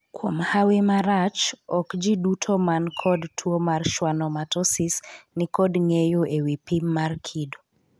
Kuom hawi marach, okjiduto manikod tuo mar schwannomatosis nikod ng`eyo ewi pim mar kido.